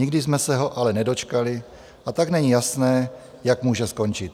Nikdy jsme se ho ale nedočkali, a tak není jasné, jak může skončit.